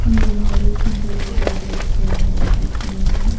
यह एक जिम का दृश्य है जिसमें--